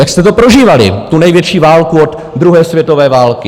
Jak jste to prožívali, tu největší válku od druhé světové války?